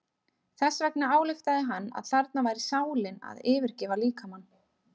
Þess vegna ályktaði hann að þarna væri sálin að yfirgefa líkamann.